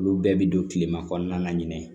Olu bɛɛ bi don kilema kɔnɔna ɲinɛ